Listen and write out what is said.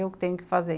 eu tenho que fazer.